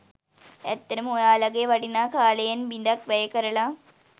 ඇත්තටම ඔයාලගේ වටිනා කාලයෙන් බිඳක් වැය කරලා